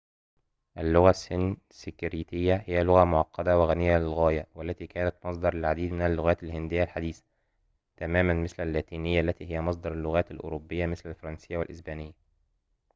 اللغة السنسكريتية هي لغة معقدة وغنية للغاية والتي كانت مصدراً للعديد من اللغات الهندية الحديثة تماماً مثل اللاتينية التي هي مصدر اللغات الأوروبية مثل الفرنسية والإسبانية